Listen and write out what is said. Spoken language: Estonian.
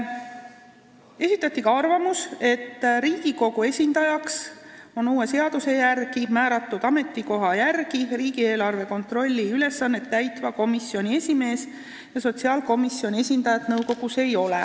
Esitati ka arvamus, et uue seaduse järgi on Riigikogu esindajaks määratud ametikoha järgi riigieelarve kontrolli ülesannet täitva komisjoni esimees ja sotsiaalkomisjoni esindajat enam nõukogus ei ole.